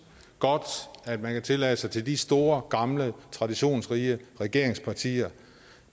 godt at man kan tillade sig til de store gamle traditionsrige regeringspartier